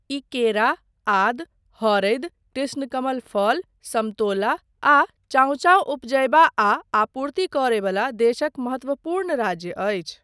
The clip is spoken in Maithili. ई केरा, आदी, हरदि, कृष्णकमल फल, समतोला आ चाओचाओ उपजयबा आ आपूर्ति करय बला देशक महत्वपूर्ण राज्य अछि।